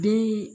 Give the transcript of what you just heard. Den